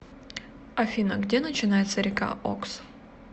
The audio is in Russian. афина где начинается река окс